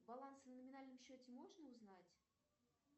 баланс на номинальном счете можно узнать